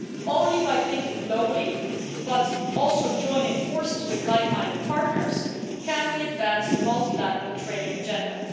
Only by thinking globally, but also joining forces with like minded partners, can we advance the multilateral trading agenda.